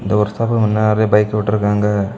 இந்த workshop முன்ன நறைய பைக் வுட்ருக்காங்க.